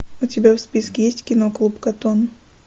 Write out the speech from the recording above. у тебя в списке есть кино клуб коттон